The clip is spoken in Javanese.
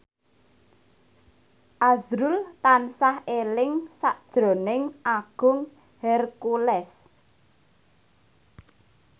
azrul tansah eling sakjroning Agung Hercules